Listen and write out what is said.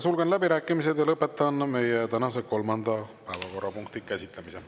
Sulgen läbirääkimised ja lõpetan meie tänase kolmanda päevakorrapunkti käsitlemise.